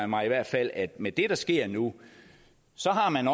mig i hvert fald at med det der sker nu så har man